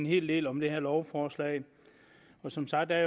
hel del om det her lovforslag som sagt er